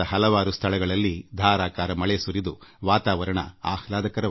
ದೇಶದ ಹಲವಾರು ಸ್ಥಳಗಳಲ್ಲಿ ಉತ್ತಮ ಮಳೆ ಸುರಿಯುತ್ತಿದ್ದು ವಾತಾವರಣ ಆಹ್ಲಾದಕರವಾಗಿದೆ